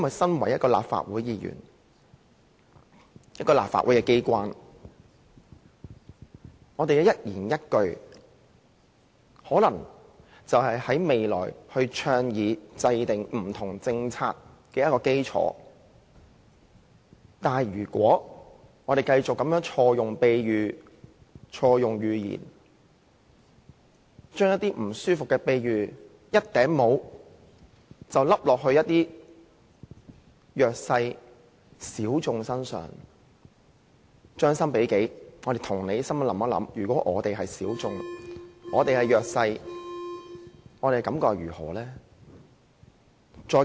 作為一位立法會議員，我們在立法機關的一言一語均可能成為未來倡議和制訂政策的基礎，議員不可繼續錯用比喻、寓言，將一些令人感覺不舒服的比喻，像帽子般套在一些弱勢人士、小眾身上，將心比己，帶着同理心想一下，如果我們是小眾、是弱勢人士，我們又有何感覺呢？